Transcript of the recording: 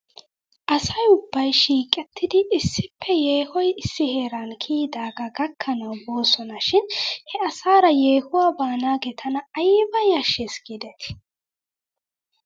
Asay ubbay shiiqettidi issippe yeehoy issi heeran kiyidaagaa gakkanaw boosona shin he asaara yeehuwaa baanaagee tana ayba yashshes giidetii ?